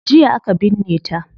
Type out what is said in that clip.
Jiya aka binne ta